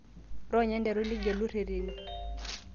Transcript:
ironya nteru nigelu ireteni